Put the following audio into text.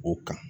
O kan